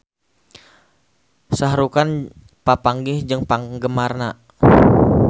Shah Rukh Khan papanggih jeung penggemarna